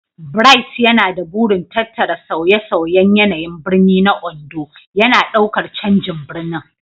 Bright yana da burin tattara sauye-sauyen yanayin birni na Ondo, yana ɗaukar canjin birnin.